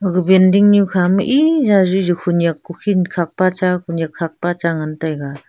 aga binding nu kha ma e ja khunyak khukhin khak pa cha khunyak kha pa cha ngan taiga.